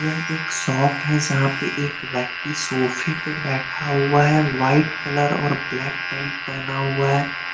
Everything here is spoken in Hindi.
यह एक शॉप है जहाँ पे एक व्यक्ति सोफे पे बैठा हुआ है वाइट कलर और ब्लैक पेंट पहना हुआ है।